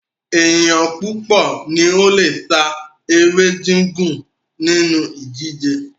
Ènìyàn púpọ̀ ní o le sá eré gígùn nínú ìdíje